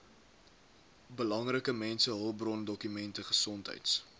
belangrike mensehulpbrondokumente gesondheids